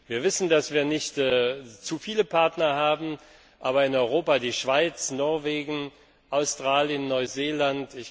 Wir wissen, dass wir nicht zu viele Partner haben, aber in Europa die Schweiz und Norwegen sowie Australien und Neuseeland.